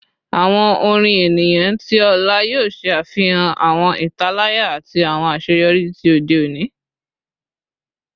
Awọn orin eniyan ti ọla yoo ṣe afihan awọn italaya ati awọn aṣeyọri ti ode oni